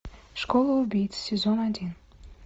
школа убийц сезон один